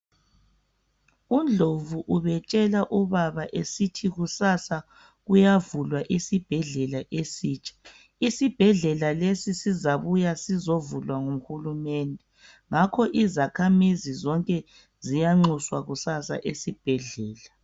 UNdlovu ubetshela ubaba esithi kusasa kuyavulwa isibhedlela esitsha. Isibhedlela lesi sizabuya sizovulwa nguhulumende, ngakho izakhamizi zonke ziyanxuswa kusasa esibhedlela.